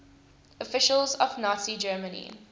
officials of nazi germany